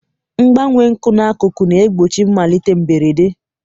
Mgbanwe nkwụ n'akụkụ na-egbochi mmalite mberede.